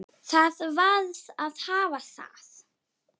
Það varð að hafa það.